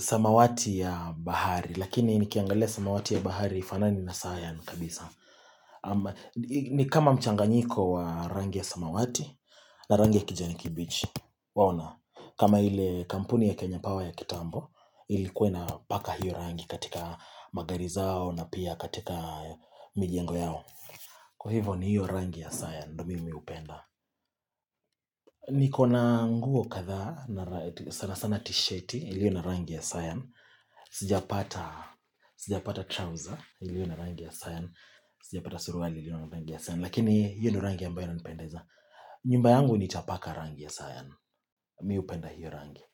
samawati ya bahari. Lakini ni kiangalea samawati ya bahari ifanani na Sion kabisa. Ni kama mchanganyiko wa rangi ya samawati na rangi ya kijani kibichi. Waona, kama ile kampuni ya Kenya Power ya kitambo Ilikua ina paka hiyo rangi katika magari zao na pia katika mijengo yao Kwa hivo ni hiyo rangi ya sion, ndo mimi hupenda Nikona nguo kadha na sana sana t-shirt ilio na rangi ya sion Sijapata trouser ilio na rangi ya sayan Sijapata suruali ilio na rangi ya sion Lakini hiyo ni rangi ambayo ina nipendeza nyumba yangu nitapaka rangi ya sion. Mi hupenda hiyo rangi.